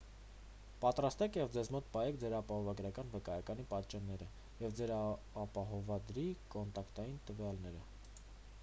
պատրաստեք և ձեզ մոտ պահեք ձեր ապահովագրական վկայականի պատճենները և ձեր ապահովադրի կոնտակտային տվյալները